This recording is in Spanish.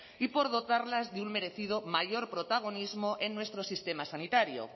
y por dotarlas de un merecido mayor protagonismo en nuestro sistema sanitario